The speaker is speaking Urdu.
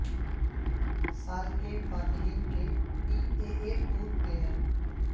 سال کے فاتحین کے P A A tour player